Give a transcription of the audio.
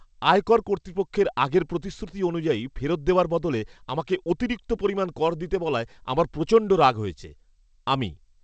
আয়কর কর্তৃপক্ষের আগের প্রতিশ্রুতি অনুযায়ী ফেরত দেওয়ার বদলে আমাকে অতিরিক্ত পরিমাণ কর দিতে বলায় আমার প্রচণ্ড রাগ হয়েছে। আমি